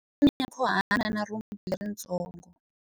U na nyankhuhana na rhumbu leritsongo.